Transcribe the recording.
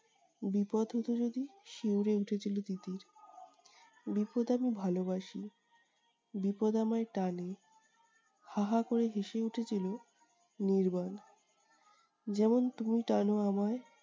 বিপদ হতো যদি? শিউরে উঠেছিল তিতির। বিপদ আমি ভালোবাসি। বিপদ আমায় টানে। হা হা করে হেসে উঠেছিল নির্বাণ। যেমন তুমি টানো আমায়।